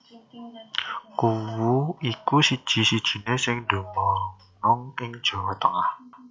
Kuwu iku siji sijiné sing dumunung ing Jawa Tengah